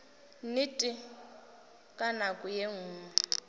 nnete ka nako ye nngwe